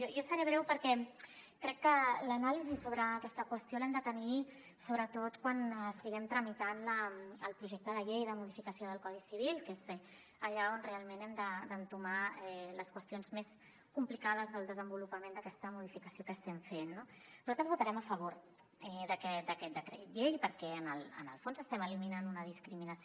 jo seré breu perquè crec que l’anàlisi sobre aquesta qüestió l’hem de tenir sobretot quan estiguem tramitant el projecte de llei de modificació del codi civil que és allà on realment hem d’entomar les qüestions més complicades del desenvolupament d’aquesta modificació que estem fent no nosaltres votarem a favor d’aquest decret llei perquè en el fons estem eliminant una discriminació